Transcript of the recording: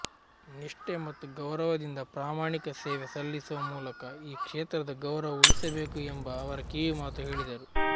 ನಿಷ್ಠೆ ಮತ್ತು ಗೌರವದಿಂದ ಪ್ರಾಮಾಣಿಕ ಸೇವೆ ಸಲ್ಲಿಸುವ ಮೂಲಕ ಈ ಕ್ಷೇತ್ರದ ಗೌರವ ಉಳಿಸಬೇಕು ಎಂದು ಅವರು ಕಿವಿಮಾತು ಹೇಳಿದರು